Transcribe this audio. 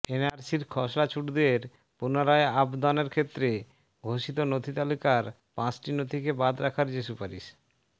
এনআরসির খসড়াছুটদের পুনরায় আবদনের ক্ষেত্রে ঘোষিত নথি তালিকার পাঁচটি নথিকে বাদ রাখার যে সুপারিশ